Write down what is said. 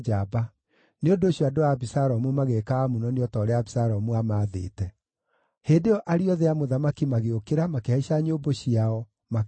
Nĩ ũndũ ũcio andũ a Abisalomu magĩĩka Amunoni o ta ũrĩa Abisalomu aamaathĩte. Hĩndĩ ĩyo ariũ othe a mũthamaki magĩũkĩra, makĩhaica nyũmbũ ciao, makĩũra.